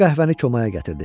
O qəhvəni komaya gətirdi.